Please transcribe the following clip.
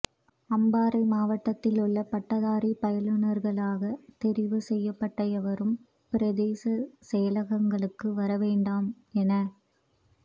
அம்பாறை மாவட்டத்தில் உள்ள பட்டதாரி பயிலூனர்களாக தெரிவுசெய்யப்பட்ட எவரும் பிரதேச செயலகங்களுக்கு வர வேண்டாம் என